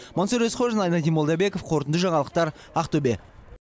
мансұр есқожин айнадин молдабеков қорытынды жаңалықтар ақтөбе